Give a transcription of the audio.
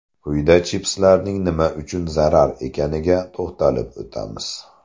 Quyida chipslarning nima uchun zarar ekaniga to‘xtalib o‘tamiz.